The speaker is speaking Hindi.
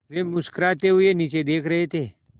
वे मुस्कराते हुए नीचे देख रहे थे